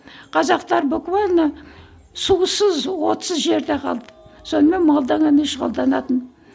қазақтар буквально сусыз отсыз жерде қалды сонымен шұғылданатын